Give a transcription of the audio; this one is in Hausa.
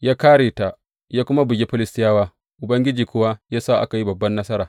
Ya kāre ta, ya kuma bugi Filistiyawa, Ubangiji kuwa ya sa aka yi babban nasara.